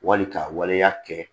Wali ka waleya kɛ